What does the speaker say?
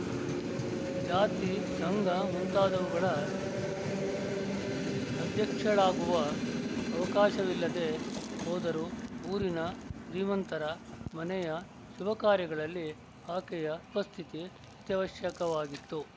ಜಾತಿ ಸಂಘ ಮುಂತಾದವುಗಳ ಅಧ್ಯಕ್ಷಳಾಗುವ ಅವಕಾಶವಿಲ್ಲದೆ ಹೋದರೂ ಊರಿನ ಶ್ರೀಮಂತರ ಮನೆಯ ಶುಭಕಾರ್ಯಗಳಲ್ಲಿ ಆಕೆಯ ಉಪಸ್ಥಿತಿ ಅತ್ಯವಶ್ಯಕವಾಗಿತ್ತು